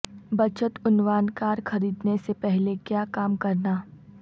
بچت عنوان کار خریدنے سے پہلے کیا کام کرنا